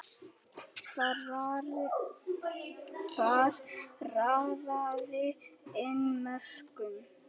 Þar raðaði inn mörkum.